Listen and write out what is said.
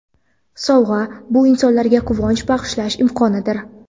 Sovg‘a – bu insonlarga quvonch bag‘ishlash imkonidir.